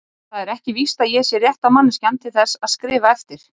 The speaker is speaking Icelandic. Það er ekki víst að ég sé rétta manneskjan til þess að skrifa eftir